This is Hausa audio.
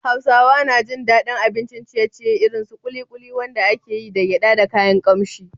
Hausawa na jin daɗin abincin ciye-ciye irin su ƙuliƙuli, wanda ake yi da gyada da kayan kamshi.